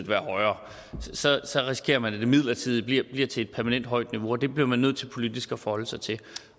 være højere så så risikerer man at det midlertidige bliver til et permanent højt niveau og det bliver man nødt til politisk at forholde sig til